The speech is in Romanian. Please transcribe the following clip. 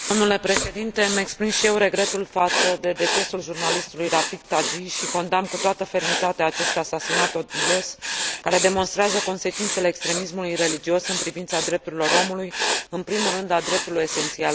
Îmi exprim și eu regretul față de decesul jurnalistului Rafig Tagi și condamn cu toată fermitatea acest asasinat odios, care demonstrează consecințele extremismului religios în privința drepturilor omului, în primul rând a dreptului esențial la viață.